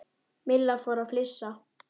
Milla fór að flissa.